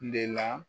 De la